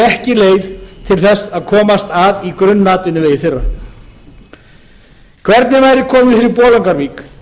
ekki leið til þess að komast að í grunnatvinnuvegi þjóðarinnar hvernig væri komið fyrir bolungarvík